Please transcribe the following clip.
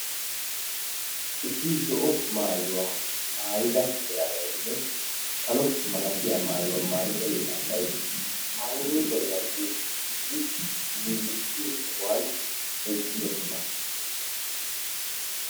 issi zo'o maayuwa maayida yelagay issi karetaa maayida yelagay paariniicheriya yagiyo sohuwan eqqidosona.